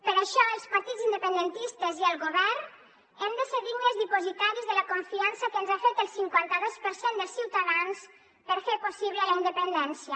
per això els partits independentistes i el govern hem de ser dignes dipositaris de la confiança que ens ha fet el cinquantados per cent dels ciutadans per fer possible la independència